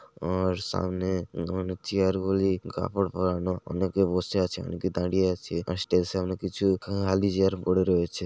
ওর সামনে গরমে চেয়ার গুলি কাপড় পরানো অনেকে বসে আছে অনেকে দাঁড়িয়ে আছে স্টেশন এ কিছু খালি চেয়ার পড়ে রয়েছে।